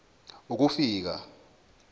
ukufika